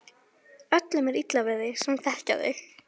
Öllum er illa við þig sem þekkja þig!